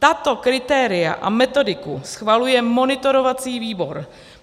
Tato kritéria a metodiku schvaluje monitorovací výbor.